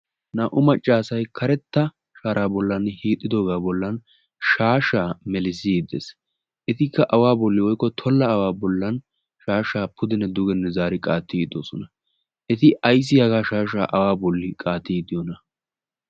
naa'u maccaasai karetta shaaraa bollan hiixxidoogaa bollan shaashaa melisiiddees etikka awaa bolli oikko tolla awaa bollan shaashaa pudinne dugenne zaari qaatti ixdoosona. eti aissi hagaa shaashaa awaa bolli qaati iddiyoona.